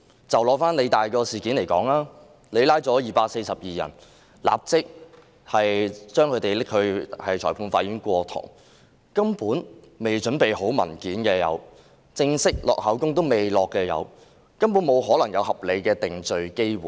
以香港理工大學事件為例，警方拘捕242人後，立即帶他們到裁判法院上庭，因而出現未備齊文件的情況，也有人尚未錄取口供，根本沒可能有合理的定罪機會。